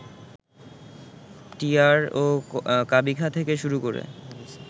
TR ও কাবিখা থেকে শুরু করে